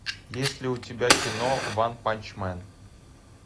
есть ли у тебя кино ванпачмен